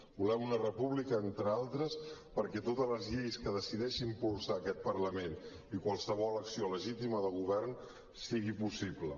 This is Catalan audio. volem una república entre altres perquè totes les lleis que decideixi impulsar aquest parlament i qualsevol acció legítima de govern siguin possibles